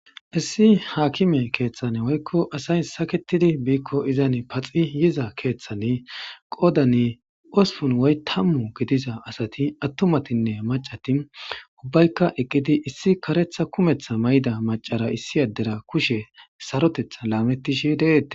Issi akime kethan woykon asay saketidi bikko izzan paxidi yiza kethan qodan ospun woykon tamu gidiza asati attumatine mac'ati eqidi issay karetha kumetha mayo mayidi